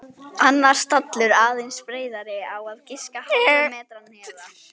Annar stallur aðeins breiðari á að giska hálfum metra neðar.